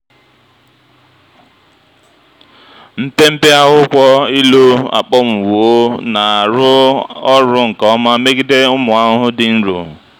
mpempe akwụkwọ ilu akpọnwụwo na-arụ ọrụ nke ọma megide ụmụ ahụhụ dị nro.